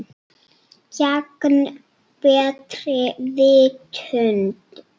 Gegn betri vitund.